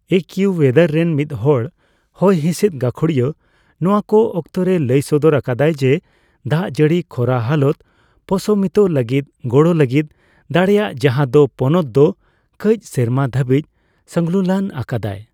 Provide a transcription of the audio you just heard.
ᱮᱠᱤᱭᱩᱳᱭᱮᱫᱟᱨ ᱨᱮᱱ ᱢᱤᱫᱦᱚᱲ ᱦᱚᱭᱦᱤᱥᱤᱫ ᱜᱟᱠᱷᱩᱲᱤᱭᱟᱹ ᱱᱚᱣᱟ ᱠᱚ ᱚᱠᱛᱚ ᱨᱮᱭ ᱞᱟᱹᱭ ᱥᱚᱫᱚᱨ ᱟᱠᱟᱫᱟᱭ ᱡᱮ ᱫᱟᱜᱡᱟᱹᱲᱤ ᱠᱷᱚᱨᱟ ᱦᱟᱞᱚᱛ ᱯᱚᱥᱚᱢᱤᱛᱚ ᱞᱟᱹᱜᱤᱫ ᱜᱚᱲᱚ ᱞᱟᱹᱜᱤᱫ ᱫᱟᱲᱮᱭᱟᱭ ᱡᱟᱦᱟᱸ ᱫᱚ ᱯᱚᱱᱚᱛ ᱫᱚ ᱠᱟᱹᱪ ᱥᱮᱨᱢᱟ ᱫᱷᱟᱹᱵᱤᱡ ᱥᱚᱝᱞᱩᱞᱟᱹᱱ ᱟᱠᱟᱫᱟᱭ ᱾